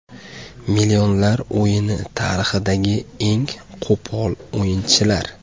Millionlar o‘yini tarixidagi eng qo‘pol o‘yinchilar.